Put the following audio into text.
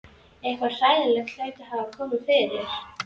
Eitthvað hræðilegt hlaut að hafa komið fyrir.